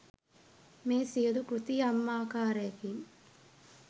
මේ සියලු කෘති යම් ආකාරයකින්